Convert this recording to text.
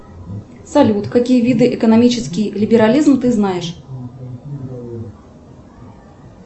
салют какие виды экономический либерализм ты знаешь